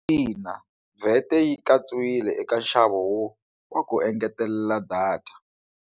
Ina, VAT yi katsiwile eka nxavo wa ku engetelela data.